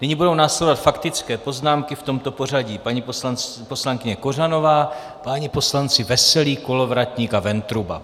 Nyní budou následovat faktické poznámky v tomto pořadí: paní poslankyně Kořanová, páni poslanci Veselý, Kolovratník a Ventruba.